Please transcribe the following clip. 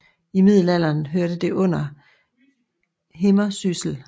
I middelalderen hørte det under Himmersyssel